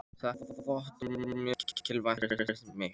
Þetta vottorð er mjög mikilvægt fyrir mig.